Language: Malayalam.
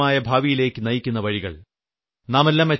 നമ്മെ ഉജ്ജ്വലമായ ഭാവിയിലേക്ക് നയിക്കുന്ന വഴികൾ